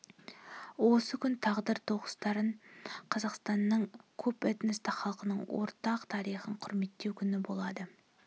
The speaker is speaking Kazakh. осы күн тағдыр тоғыстырған қазақстанның көпэтносты халқының ортақ тарихын құрметтеу күні болады